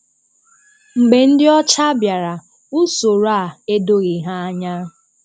Mgbe ndị ọcha bịara, usoro a edoghị há anya.